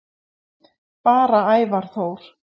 Bara Ævar Þór.